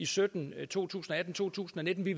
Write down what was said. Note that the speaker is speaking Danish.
sytten to tusind og atten to tusind og nitten vi